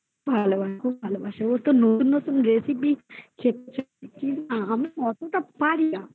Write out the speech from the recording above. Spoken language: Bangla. ভালোবাসে ভালোবাসা ওই তো নতুন নতুন recipe শেখা আমি অতটা পারিনা